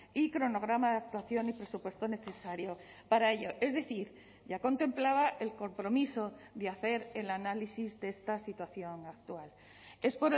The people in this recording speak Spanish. y cronograma de actuación y presupuesto necesario para ello es decir ya contemplaba el compromiso de hacer el análisis de esta situación actual es